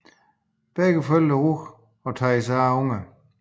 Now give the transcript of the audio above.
Begge forældre ruger og tager sig af ungerne